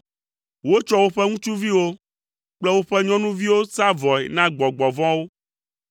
Wotsɔ woƒe ŋutsuviwo kple woƒe nyɔnuviwo sa vɔe na gbɔgbɔ vɔ̃wo.